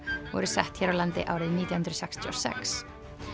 voru sett hér á landi árið nítján hundruð sextíu og sex